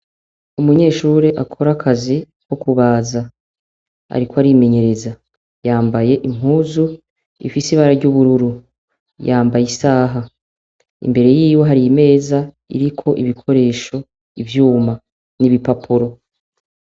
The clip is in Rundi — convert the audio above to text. Umunyeshure akora akazi kukubaza ariko arimenyereza. Yambaye impuzu ifise ibara ry'ubururu, yambaye isaha. Imbere yiwe hari imeza iriko ibikoresho, ivyuma n'ibipapuro.